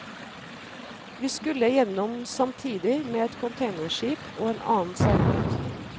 Vi skulle gjennom samtidig med et containerskip og en annen seilbåt.